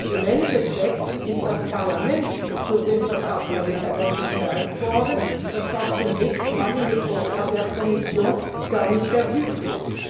Im Endeffekt ist das Parlament durch den Vertrag von Lissabon gestärkt worden, das war zunächst mal in dem Vorschlag der Kommission gar nicht ersichtlich.